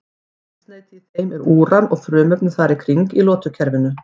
Eldsneyti í þeim er úran eða frumefni þar í kring í lotukerfinu.